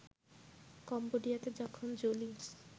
কম্বোডিয়াতে যখন জোলি